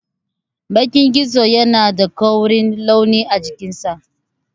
Bakan gizo yana da koren launi a cikinsa.